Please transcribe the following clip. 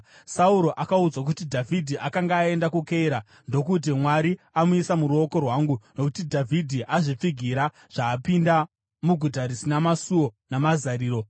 Sauro akaudzwa kuti Dhavhidhi akanga aenda kuKeira, ndokuti, “Mwari amuisa muruoko rwangu, nokuti Dhavhidhi azvipfigira zvaapinda muguta rina masuo namazariro.”